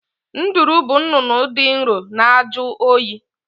Nduru bụ nnụnụ dị nro na-ajụ oyi